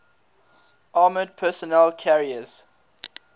armoured personnel carriers